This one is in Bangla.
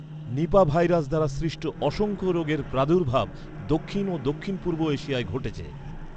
নিপাহ ভাইরাস দ্বারা সৃষ্ট অসংখ্য রোগের প্রাদুর্ভাব দক্ষিণ ও দক্ষিণ পূর্ব এশিয়ায় ঘটেছে।